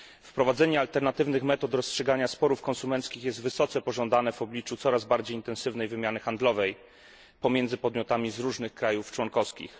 Wprowadzenie alternatywnych metod rozstrzygania sporów konsumenckich jest wysoce pożądane w obliczu coraz bardziej intensywnej wymiany handlowej pomiędzy podmiotami z różnych państw członkowskich.